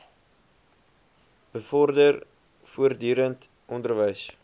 bevorder voortdurend onderwys